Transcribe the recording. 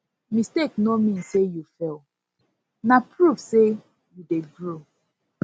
mistake no mean say you fail na proof say you dey grow